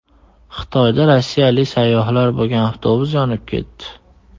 Xitoyda rossiyalik sayyohlar bo‘lgan avtobus yonib ketdi.